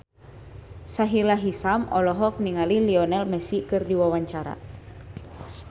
Sahila Hisyam olohok ningali Lionel Messi keur diwawancara